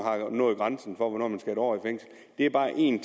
når grænsen for hvornår man skal en år i fængsel det er bare en